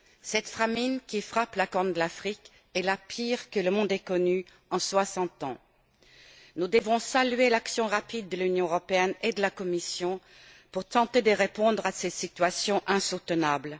Cette famine qui frappe la Corne de l'Afrique est la pire que le monde ait connue en soixante ans. Nous devons saluer l'action rapide de l'Union européenne et de la Commission pour tenter de répondre à ces situations insoutenables.